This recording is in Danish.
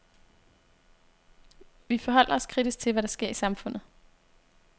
Vi forholder os kritisk til, hvad der sker i samfundet.